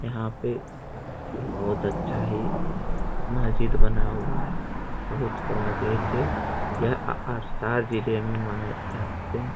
यहाँ पे बोहोत अच्छा है महजिद बना हुआ है बोहोत बड़ा गेट है यह अ जिले में अ पड़ते हैं।